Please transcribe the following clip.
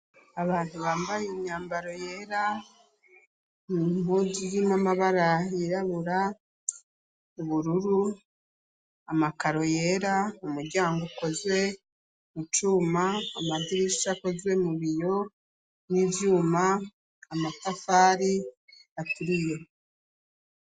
Abantu bambaye imyambaro yera mu mpojy'imamabarahyirabura ubururu amakaro yera umuryango ukozwe mucuma amazirisha akozwe mu biyo n'ivyuma amatafari aturiye.